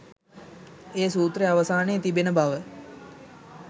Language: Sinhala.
ඒ සූත්‍රය අවසානයේ තිබෙන බව.